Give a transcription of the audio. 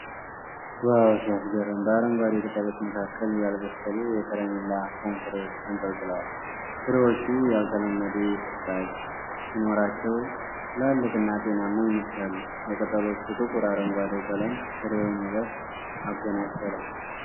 ዋው ሲያስገርም! በአረንጓዴ ቅጠሎች መካከል ያልበሰሉ የከረሚላ ፖም ፍሬዎች ተንጠልጥለዋል። ፍሬዎቹ ያልተለመደ ልጣጭ ሲኖራቸው፣ ትላልቅና ጤናማ ይመስላሉ። የቅጠሎቹ ጥቁር አረንጓዴ ቀለም ፍሬውን ውበት አጎናጽፎታል።